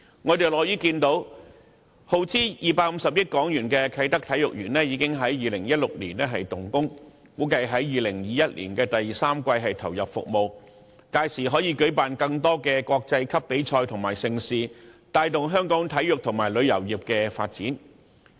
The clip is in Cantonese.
我們樂見耗資250億港元的啟德體育園在2016年動工，估計在2021年的第三季投入服務，屆時可舉辦更多國際級比賽及盛事，帶動香港體育和旅遊業的發展。